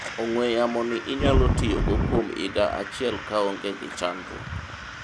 ong'we yamo ni inyalo tiyogo kuom higa achiel kaonge gi chandruok